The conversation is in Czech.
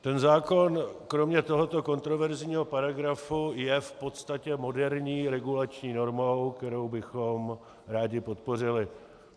Ten zákon kromě tohoto kontroverzního paragrafu je v podstatě moderní regulační normou, kterou bychom rádi podpořili.